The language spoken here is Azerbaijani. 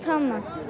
Atamla.